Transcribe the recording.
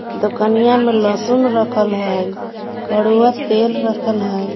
दुकनिया मे लसुन रखल है कड़ुआ तेल रखल है।